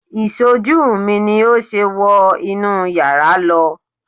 Ìṣojú mi ni ó ṣe wọ inú yàrá lọ